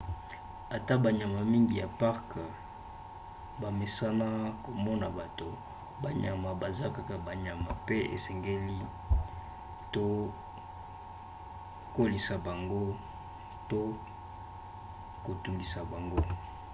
ata banyama mingi ya parke bamesana komona bato banyama baza kaka banyama pe esengeli te koleisa bango to kotungisa bango